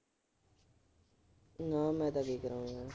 ਨਾ ਮੈਂ ਤਾਂ ਕੀ ਕਰਾਉਣੇ ਨੇ।